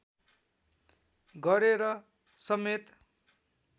गरेर समेत